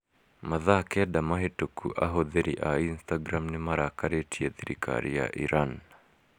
Mathaa kenda mahĩtũku ahũthĩri a Instagram nĩ marakarĩtie thirikari ya Iran.